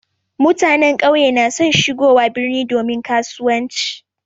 Mutanen ƙauye na son shigowa birni domin kasuwanci.